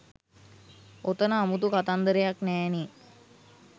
ඔතන අමුතු කතන්දරයක් නෑ නේ